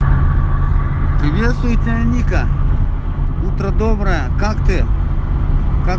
приветствую тебя вероника утро доброе как ты